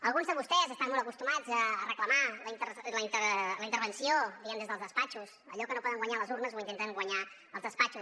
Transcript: alguns de vostès estan molt acostumats a reclamar la intervenció diguem ne des dels despatxos allò que no poden guanyar a les urnes ho intenten guanyar als despatxos